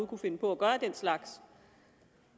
kunne finde på at gøre den slags